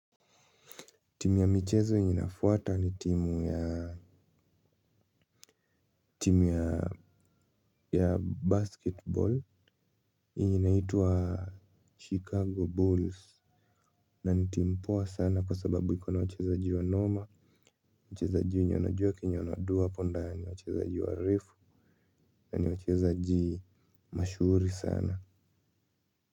Timu ya michezo yenye inafuata ni timu. Timu ya ya Basketball yenye inaitwa Chicago Bulls Na ni timu poa sana kwa sababu iko na wachezaji wanoma. Wachezaji wenye wanajua kenye wana-do hapo ndani. Wachezaji warefu na ni wachezaji mashuhuri sana.